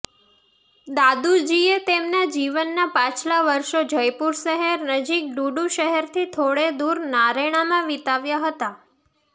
દાદુજીએ તેમના જીવનના પાછલા વર્ષો જયપુર શહેર નજીક ડુડુ શહેરથી થોડે દૂર નારૈણામાં વિતાવ્યા હતા